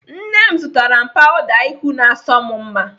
Nne m zụtara m pawuda ihu na-asọ m mma.